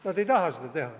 Nad ei taha seda teha.